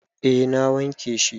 A na wanke shi